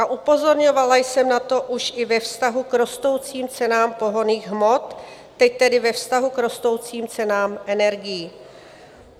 A upozorňovala jsem na to už i ve vztahu k rostoucím cenám pohonných hmot, teď tedy ve vztahu k rostoucím cenám energií.